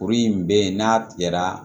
Kuru in bɛ yen n'a tigɛra